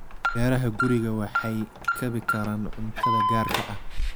Beeraha gurigu waxay kabi karaan cuntada gaarka ah.